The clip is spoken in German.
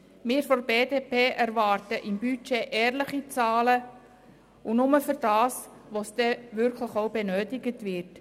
Wir von der BDP erwarten ehrliche Zahlen im Budget und dies nur für benötigte Ausgaben.